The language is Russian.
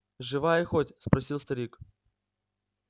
живая хоть спросил старик